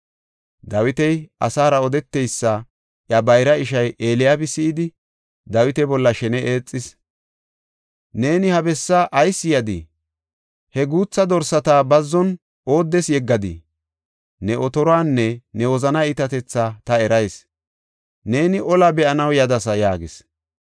Dawiti asaara odeteysa iya bayra ishay Eliyaabi si7idi, Dawita bolla shene eexis. “Neeni ha bessaa ayis yadii? He guutha dorsata bazzon ooddes yeggadii? Ne otoruwanne ne wozanaa iitatethaa ta erayis; neeni olaa be7anaw yadasa” yaagis.